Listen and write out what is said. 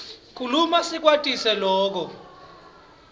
kukhuluma siyakwati loku